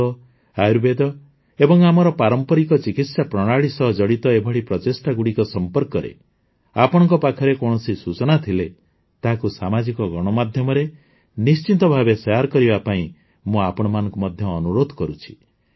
ଯୋଗ ଆୟୁର୍ବେଦ ଏବଂ ଆମର ପାରମ୍ପରିକ ଚିକିତ୍ସା ପ୍ରଣାଳୀ ସହ ଜଡ଼ିତ ଏଭଳି ପ୍ରଚେଷ୍ଟାଗୁଡ଼ିକ ସମ୍ପର୍କରେ ଆପଣଙ୍କ ପାଖରେ କୌଣସି ସୂଚନା ଥିଲେ ତାହାକୁ ସାମାଜିକ ଗଣମାଧ୍ୟମରେ ନିଶ୍ଚିତ ଭାବେ ସେୟାର କରିବା ପାଇଁ ମୁଁ ଆପଣମାନଙ୍କୁ ମଧ୍ୟ ଅନୁରୋଧ କରୁଛି